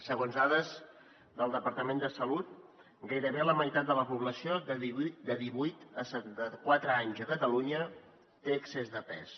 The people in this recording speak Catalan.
segons dades del departament de salut gairebé la meitat de la població de divuit a setanta quatre anys a catalunya té excés de pes